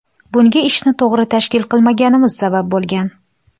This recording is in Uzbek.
Bunga ishni to‘g‘ri tashkil qilmaganimiz sabab bo‘lgan.